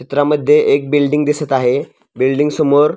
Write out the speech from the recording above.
चित्रामध्ये एक बिल्डींग दिसत आहे बिल्डींग समोर--